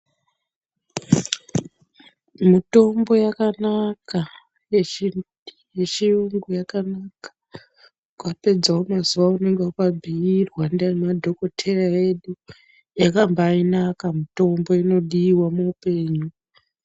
Mutombo yakanaka yechiyungu yakanaka ukapedzawo mazuva aunenge wakabhuirwa ndianadhokoteya edu, yakambainaka mutombo, inodiwa muupenyu.